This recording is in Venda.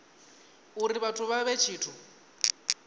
uri vhathu vha vhe tshithu